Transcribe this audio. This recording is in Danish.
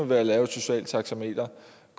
ved at lave et socialt taxameter